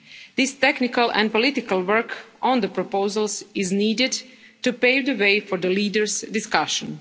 This technical and political work on the proposals is needed to pave the way for the leaders' discussion.